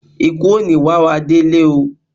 Ìkú ò ní wá wá délé oo.